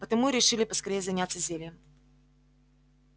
потому и решили поскорее заняться зельем